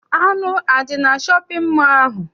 Anụ adị na shọpịn mọọ ahụ?